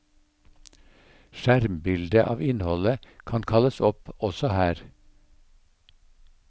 Skjermbilde av innholdet kan kalles opp også her.